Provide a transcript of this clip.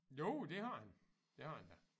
Jo det har han det har han da